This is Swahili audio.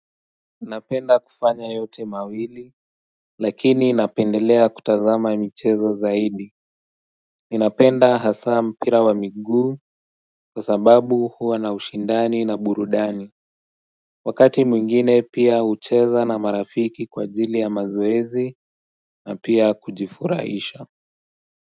Minapenda kufanya yote mawili Lakini napendelea kutazama michezo zaidi Ninapenda hasa mpira wa migu kwa sababu huwa na ushindani na burudani Wakati mwingine pia ucheza na marafiki kwa ajili ya mazoezi na pia kujifuraisha.